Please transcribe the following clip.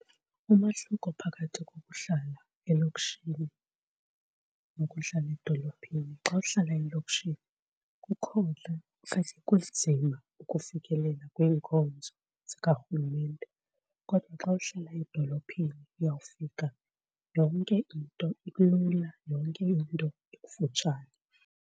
Umahluko phakathi kokuhlala elokishini nokudlala edolophini, xa uhlala elokishini kukhona okanye kunzima ukufikelela kwiinkonzo zikarhulumente kodwa xa uhlala edolophini uyawufika yonke into ilula yonke into ikufutshane.